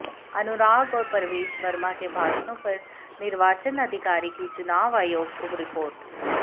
अनुराग और प्रवेश वर्मा के भाषणों पर निर्वाचन अधिकारी की चुनाव आयोग को रिपोर्ट